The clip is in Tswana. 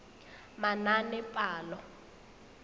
manaanepalo